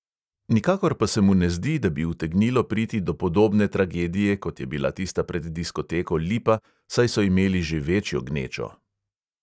Nikakor pa se mu ne zdi, da bi utegnilo priti do podobne tragedije, kot je bila tista pred diskoteko lipa, saj so imeli že večjo gnečo.